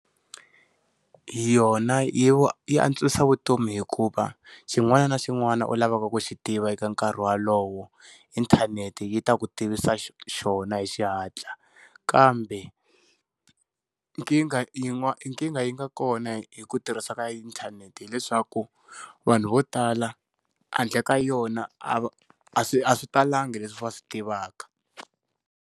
Hi yona yi yi antswisa vutomi hikuva xin'wana na xin'wana u lavaka ku xi tiva eka nkarhi walowo inthanete yi ta ku tivisa xona hi xihatla kambe nkingha yi n'wa yi nga kona hi ku tirhisa ka inthanete hileswaku vanhu vo tala handle ka yona a swi a swi talangi leswi va swi tivaka.